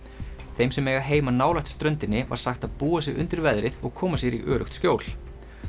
þeim sem eiga heima nálægt ströndinni var sagt að búa sig undir veðrið og koma sér í öruggt skjól